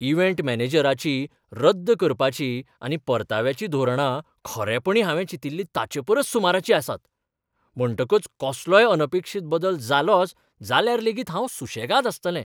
Event मॅनेजराची रद्द करपाची आनी परताव्याची धोरणां खरेपणीं हांवें चिंतिल्लीं ताचेपरस सुमाराचीं आसात. म्हणटकच कसलोय अनपेक्षीत बदल जालोच जाल्यार लेगीत हांव सुसेगाद आसतलें.